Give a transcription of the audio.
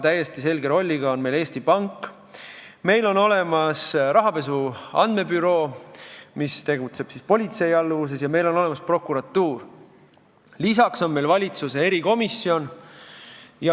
Täiesti selge rolliga on Eesti Pank, meil on olemas rahapesu andmebüroo, mis tegutseb politsei alluvuses, ja meil on olemas prokuratuur, lisaks on meil valitsuse erikomisjon.